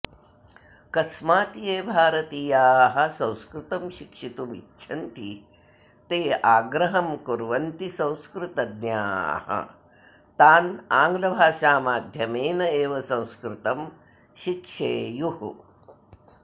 कस्मात् ये भारतीयाः संस्कृतं शिक्षितुम् इच्छन्ति ते आग्राहं कुर्वन्ति संस्कृतज्ञाः तान् आङ्ग्लभाषामाध्यमेन एव संस्कृतं शिक्षेयुः